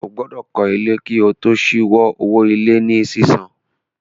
Ó gbọ́dọ̀ kọ́ ilé kí o tó ṣíwo owó ilé ní sísan